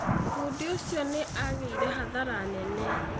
Bundi ũcio nĩ agĩire hathara nene.